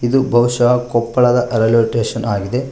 ಇದು ಬಹುಷ್ಯ ಕೊಪ್ಪಳದ ರೈಲ್ವೆ ಸ್ಟೇಷನ್ ಆಗಿದೆ.